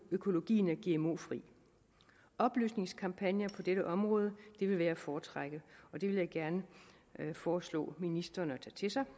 økologien er gmo fri oplysningskampagner på dette område vil være at foretrække og det vil jeg gerne foreslå ministeren at tage til sig